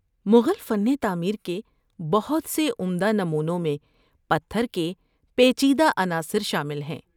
مغل فن تعمیر کے بہت سے عمدہ نمونوں میں پتھر کے پیچیدہ عناصر شامل ہیں۔